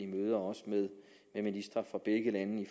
møder også med ministre fra begge lande